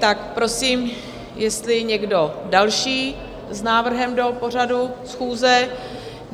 Tak prosím, jestli někdo další s návrhem do pořadu schůze?